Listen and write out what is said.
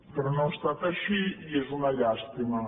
però no ha estat així i és una llàstima